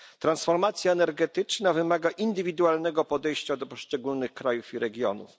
Transformacja energetyczna wymaga indywidualnego podejścia do poszczególnych krajów i regionów.